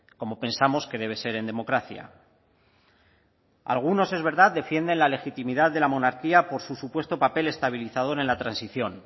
como pensamos que debe ser en democracia algunos es verdad defienden la legitimidad de la monarquía por su supuesto papel estabilizador en la transición